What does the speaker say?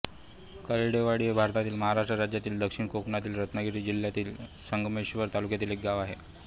करंडेवाडी हे भारतातील महाराष्ट्र राज्यातील दक्षिण कोकणातील रत्नागिरी जिल्ह्यातील संगमेश्वर तालुक्यातील एक गाव आहे